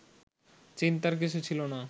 চিন্তার কিছু ছিল না